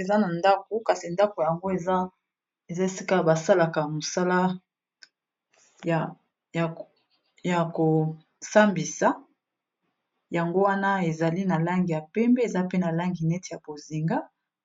eza na ndako kasi ndako yango eza esika basalaka mosala ya kosambisa yango wana ezali na langi ya pembe eza pe na langi neti ya bozinga